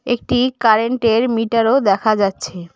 একটি কারেন্ট -এর মিটারও দেখা যাচ্ছে।